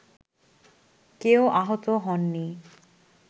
কেউ আহত হননি